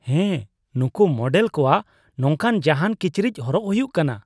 ᱦᱮᱭ ! ᱱᱩᱝᱠᱩ ᱢᱚᱰᱮᱞ ᱠᱚᱣᱟᱜ ᱱᱚᱝᱠᱟ ᱡᱟᱦᱟᱱ ᱠᱤᱪᱨᱤᱡ ᱦᱚᱨᱚᱜ ᱦᱩᱭᱩᱜ ᱠᱟᱱᱟ ᱾